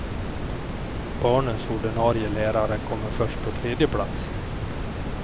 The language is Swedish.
Barnens ordinarie lärare kommer först på tredje plats.